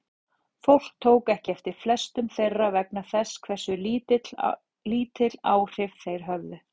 Fólk tók ekki eftir flestum þeirra vegna þess hversu lítil áhrif þeir höfðu.